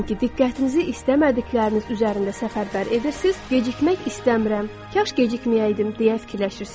Diqqətinizi istəmədikləriniz üzərində səfərbər edirsiniz, Gecikmək istəmirəm, kaş gecikməyəydim deyə fikirləşirsiniz.